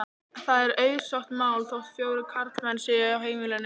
Það er auðsótt mál þótt fjórir karlmenn séu á heimilinu.